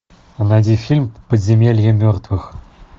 найди фильм подземелье мертвых